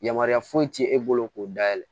Yamaruya foyi ti e bolo k'o dayɛlɛ